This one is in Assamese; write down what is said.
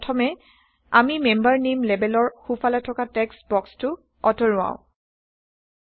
প্ৰথমে আমি মেম্বাৰ নেইম লেবেলৰ সোঁফালে থকা টেক্সট বক্সটো আতৰাওঁ160